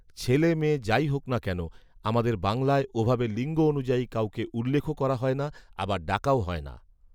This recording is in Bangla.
ছেলে মেয়ে যাই হোক না কেন, আমাদের বাংলায় ওভাবে লিঙ্গ অনুযায়ী কাউকে উল্লেখও করা হয় না, আবার ডাকাও হয় না